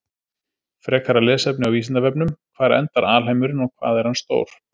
Frekara lesefni á Vísindavefnum: Hvar endar alheimurinn og hvað er hann stór?